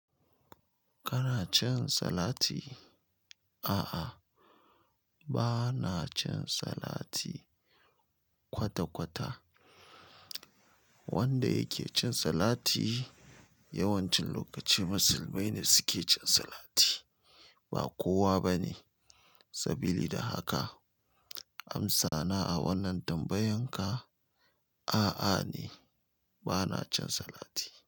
Kana cin salati? A'a, ba na cin salati kwata-kwata. Wanda yake cin salati yawancin lokaci musulmai ne suke cin salati, ba kowa ba ne. Sabili da haka amsa na a wannan tambayan ka, a'a ne, ba na cin salati.